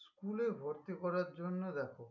School এ ভর্তি করার জন্য দেখো